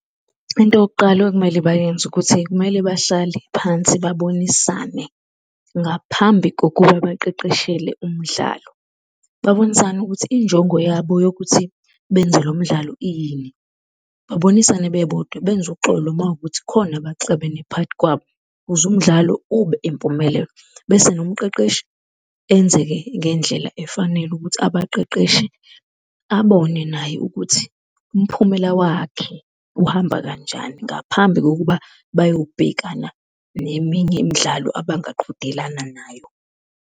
Into yokuqala ekumele bayenze ukuthi kumele bahlale phansi babonisane ngaphambi kokuba baqeqeshelwe umdlalo. Babonisane ukuthi injongo yabo yokuthi benze lo mdlalo iyini, babonisane bebodwa benze uxolo uma kuwukuthi kukhona abaxabene phakathi kwabo ukuze umdlalo ube impumelelo. Bese nomqeqeshi enze-ke ngendlela efanele ukuthi abaqeqeshi abone naye ukuthi umphumela wakhe uhamba kanjani ngaphambi kokuba bayobhekana neminye imidlalo abangaqhudelani nayo.